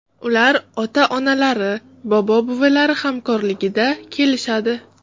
Ular ota-onalari, bobo-buvilari hamrohligida kelishadi.